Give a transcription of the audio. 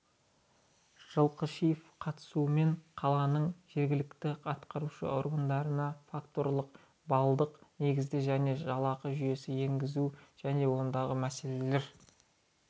жылқышиеваның қатысуымен қаланың жергілікті атқарушы органдарына факторлық-баллдық негізде жаңа жалақы жүйесін енгізу және ондағы мәселелер